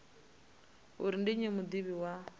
uri ndi nnyi mudivhi wa